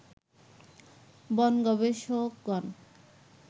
বন গবেষকগণ